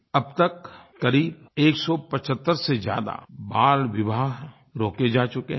अब तक क़रीब 175 से ज़्यादा बालविवाह रोके जा चुके हैं